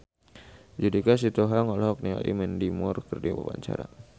Judika Sitohang olohok ningali Mandy Moore keur diwawancara